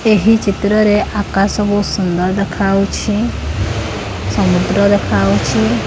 ଏହି ଚିତ୍ର ରେ ଆକାଶ ବହୁତ ସୁନ୍ଦର ଦେଖାହଉଛି ସମୁଦ୍ର ଦେଖାହଉଚି।